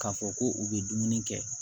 K'a fɔ ko u bɛ dumuni kɛ